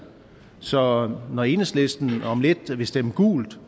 så når enhedslisten om lidt vil stemme gult